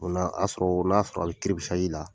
O la a y'a sɔrɔ o n'a sɔrɔ a bi la.